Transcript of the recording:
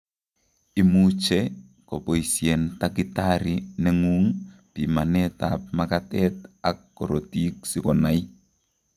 Imuche koboisien takitari neng'ung' pimanet ab makatet ak korotik sikonai